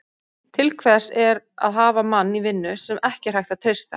Til hvers er að hafa mann í vinnu, sem ekki er hægt að treysta?